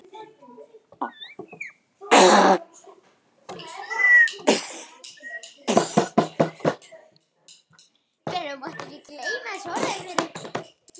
En þar er það sama.